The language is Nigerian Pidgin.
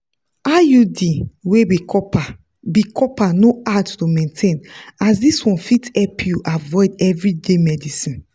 iud wey be copper be copper no hard to maintain as this one fit help you avoid everyday medicines.